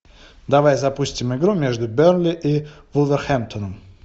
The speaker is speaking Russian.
давай запустим игру между бернли и вулверхэмптоном